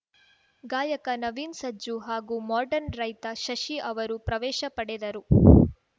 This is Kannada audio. ಗಾಯಕ ನವೀನ್‌ ಸಜ್ಜು ಹಾಗೂ ಮಾಡ್ರನ್‌ ರೈತ ಶಶಿ ಅವರು ಪ್ರವೇಶ ಪಡೆದರು